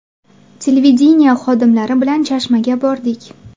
Televideniye xodimlari bilan Chashmaga bordik.